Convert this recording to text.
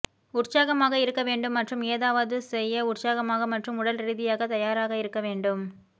உற்சாகமாக இருக்க வேண்டும் மற்றும் ஏதாவது செய்ய உற்சாகமாக மற்றும் உடல் ரீதியாக தயாராக இருக்க வேண்டும்